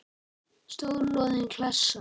Stór loðin klessa.